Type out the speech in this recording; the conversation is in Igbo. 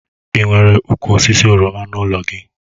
Ị nwere ụkwụ osisi oroma n'ụlọ gị?